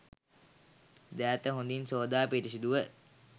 දෑත හොඳින් සෝදා පිරිසුදුව,